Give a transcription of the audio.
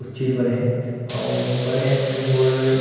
अउ चीज बने हे अउ बने हे ते में गोल--